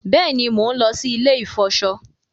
Béèni món ló sì ilè ifọṣọ.